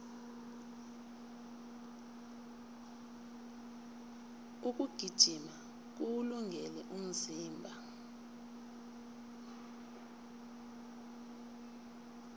ukugijima kuwulungele umzimba